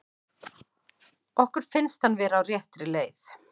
Okkur finnst hann vera á réttri leið.